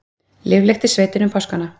Líflegt í sveitinni um páskana